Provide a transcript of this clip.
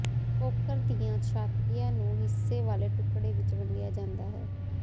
poker ਦੀਆਂ ਛਾਤੀਆਂ ਨੂੰ ਹਿੱਸੇ ਵਾਲੇ ਟੁਕੜੇ ਵਿੱਚ ਵੰਡਿਆ ਜਾਂਦਾ ਹੈ